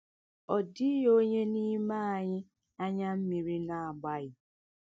* Ọ dịghị onye n’ime anyị anya mmiri na - agbaghị!